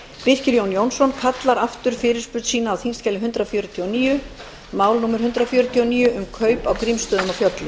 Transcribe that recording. birkir jón jónsson kallar aftur fyrirspurn sína á þingskjali hundrað fjörutíu og níu mál númer hundrað fjörutíu og níu um kaup á grímsstöðum